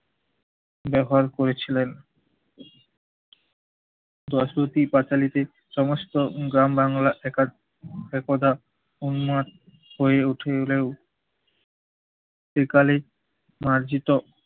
ব্যবহার করেছিলেন? দর্শকই পাঁচালীকে সমস্ত গ্রাম বাংলা একা~ একদা উন্মাদ হয়ে উঠলেও একালে মার্জিত